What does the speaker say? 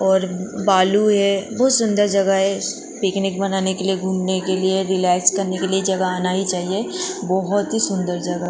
और बालू है बहुत सुंदर जगह है पिकनिक बनाने के लिए घूमने के लिए रिलैक्स करने के लिए जगह आना ही चाहिए बहुत ही सुंदर जग --